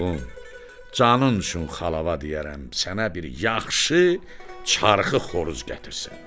Oğlum, canın üçün xalava deyərəm sənə bir yaxşı çaxı xoruz gətirsin.